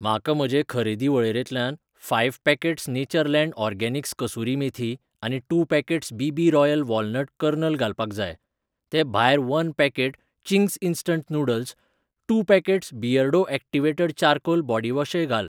म्हाका म्हजे खरेदी वळेरेंत five packets Natureland Organics kasuri methi आनी two packets B .B. Royal walnut kernel घालपाक जाय. ते भायर one packet Ching's instant noodles, two packets Beardo activated charcoal बॉडिवॉशय घाल.